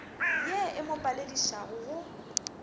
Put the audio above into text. ye e mo paledišago go